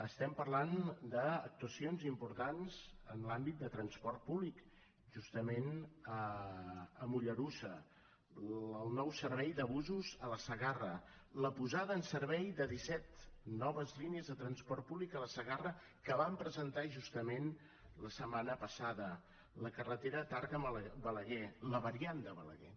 estem parlant d’actuacions importants en l’àmbit de transport públic justament a mollerussa el nou servei de busos a la segarra la posada en servei de disset noves línies de transport públic a la segarra que vam presentar justament la setmana passada la carretera tàrrega balaguer la variant de balaguer